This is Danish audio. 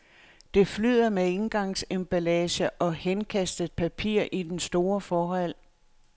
Det flyder med engangsemballage og henkastet papir i den store forhal.